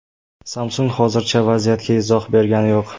Samsung hozircha vaziyatga izoh bergani yo‘q.